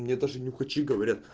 мне даже нюхачи говорят